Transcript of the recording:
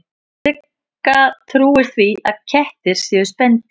Sigga trúir því að kettir séu spendýr.